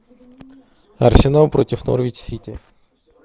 арсенал против норвич сити